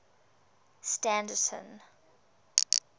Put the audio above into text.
standerton